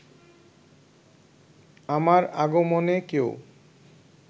আমার আগমনে কেউ